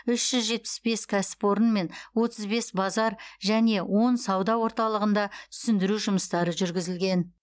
үш жүз жетпіс бес кәсіпорын мен отыз бес базар және он сауда орталығында түсіндіру жұмыстары жүргізілген